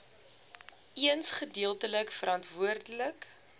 eens gedeeltelik verantwoordelik